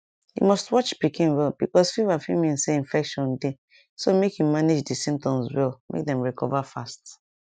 you must watch pikin well because fever fit mean say infection dey so make you manage di symptoms well make dem recover fast